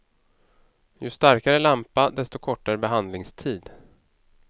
Ju starkare lampa, desto kortare behandlingstid.